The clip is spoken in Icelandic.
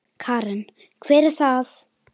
Karen: Hver er það?